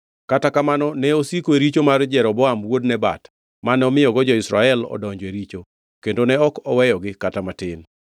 Kata kamano ne osiko e richo mar Jeroboam wuod Nebat, mane omiyogo jo-Israel odonjo e richo; kendo ne ok oweyogi kata matin.